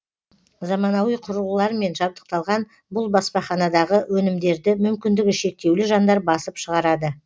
заманауи құрылғылармен жабдықталған бұл баспаханадағы өнімдерді мүмкіндігі шектеулі жандар басып шығарады